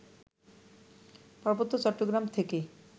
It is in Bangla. পার্বত্য চট্টগ্রাম থেকে